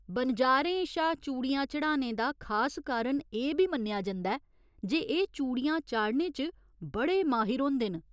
बनजारें शा चूड़ियां चढ़ाने दा खास कारण एह् बी मन्नेआ जंदा ऐ जे एह् चूड़िया चाढ़ने च बड़े माहिर होंदे न।